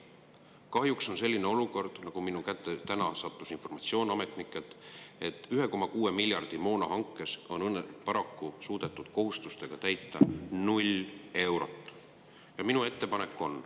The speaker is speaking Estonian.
Kahjuks on olukord selline – minu kätte sattus täna ametnikelt pärit informatsioon –, et moonahanke 1,6 miljardist on paraku suudetud kohustustega katta 0 eurot.